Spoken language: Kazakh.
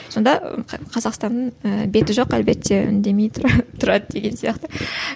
сонда қазақстанның і беті жоқ әлбетте үндемей тұрады деген сияқты